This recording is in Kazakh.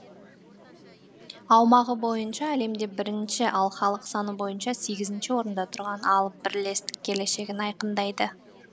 аумағы бойынша әлемде бірінші ал халық саны бойынша сегізінші орында тұрған алып бірлестік келешегін айқындайды